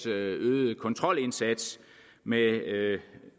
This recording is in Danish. øgede kontrolindsats med